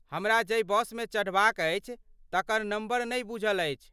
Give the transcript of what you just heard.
हमरा जै बसमे चढ़बाक अछि, तकर नम्बर नहि बूझल अछि।